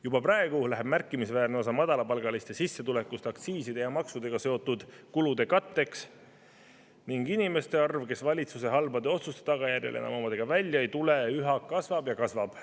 Juba praegu läheb märkimisväärne osa madalapalgaliste sissetulekust aktsiiside ja maksudega seotud kulude katteks ning inimeste arv, kes valitsuse halbade otsuste tagajärjel enam omadega välja ei tule, üha kasvab ja kasvab.